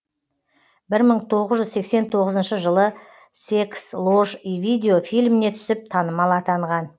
бір мың тоғыз жүз сексен тоғызыншы жылы секс ложь и видео фильміне түсіп танымал атанған